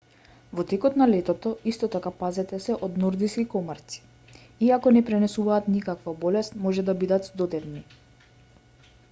во текот на летото исто така пазете се од нордиски комарци иако не пренесуваат никаква болест може да бидат здодевни